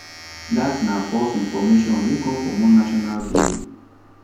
dat na false information wey come from one national daily